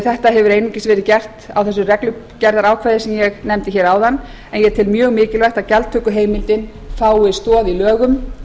þetta hefur einungis verið gert með reglugerðarákvæðum eins og ég nefndi áðan ég tel því mjög mikilvægt að gjaldtökuheimildin fái stoð í lögum